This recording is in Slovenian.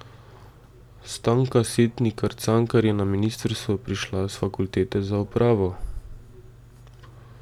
Stanka Setnikar Cankar je na ministrstvo prišla s fakultete za upravo.